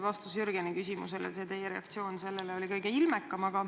Vastus Jürgeni küsimusele, teie reaktsioon sellele oli kõige ilmekam.